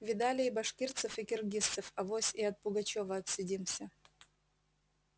видали и башкирцев и киргизцев авось и от пугачёва отсидимся